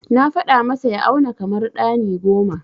Na faɗa masa ya auna kamar ɗani goma.